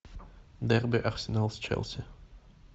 дерби арсенал с челси